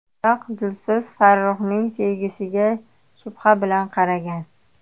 Biroq Dilso‘z Farruxning sevgisiga shubha bilan qaragan.